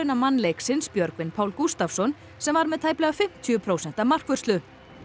mann leiksins Björgvin Pál Gústavsson sem var með tæplega fimmtíu prósenta markvörslu